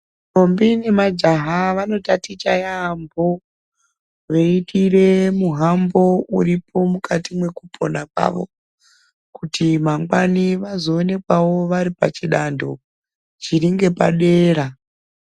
Ntombi nemajaha vanotaticha yaambo veiteere muhambo uripo mukati mwekupona kwavo kuti mangwani vazoonekwawo varipachidando chiringepadera .